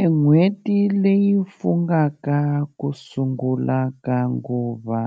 E n'hweti leyi fungaka ku sungula ka nguva